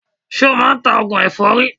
Ṣo máa ń ta oògùn èfọ́rí?